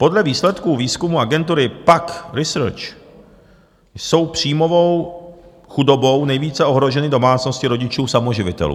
Podle výsledků výzkumu agentury PAQ Research jsou příjmovou chudobou nejvíce ohroženy domácnosti rodičů samoživitelů.